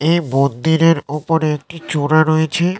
এ মন্দিরের উপরে একটি চূড়া রয়েছে--